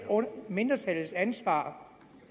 mindretallets ansvar